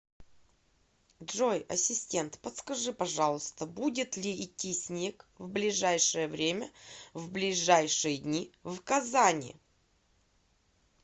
джой ассистент подскажи пожалуйста будет ли идти снег в ближайшее время в ближайшие дни в казани